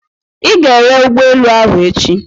Ị ga-ere ụgbọelu ahụ echi!